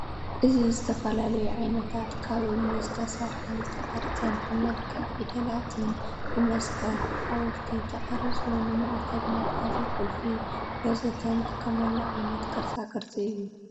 እዚ ዝተፈላለዩ ዓይነታት ካብ እምኒ ዝተሰርሐ ዝተቀረፀን ብመልክዕ ፊደላትን፣ ብመስቀል፣ ብሓወልቲ ተቀሪፁ ንማዕተብ መትሐዚ ቁልፊ ወዘተ ንጥቀመሉ ዓይነት ቅርፃ ቅርፂ እዩ ።